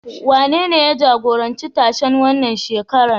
Wanene ya jagoranci tashen wannan shekarar?